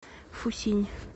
фусинь